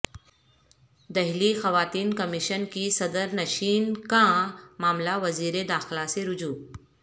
دہلی خواتین کمیشن کی صدر نشین کا معاملہ وزیر داخلہ سے رجوع